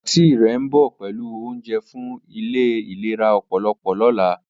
Aunty re nbo pelu ounje fun ile ilera opolo lola.